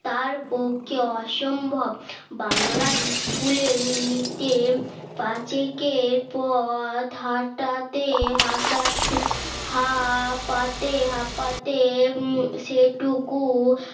তার পক্ষে অসম্ভব বাংলার ইস্কুলের মিনিটে পাশে কে পথ হাটাতে হঠাৎ হা পাতে হাঁপাতে সেটুকু